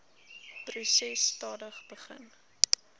proses stadig begin